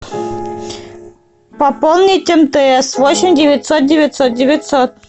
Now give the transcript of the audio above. пополнить мтс восемь девятьсот девятьсот девятьсот